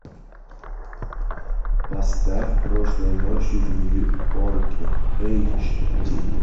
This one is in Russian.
поставь прошлой ночью в нью йорке эйч ди